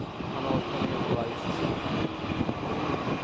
Han orkar mer för varje säsong.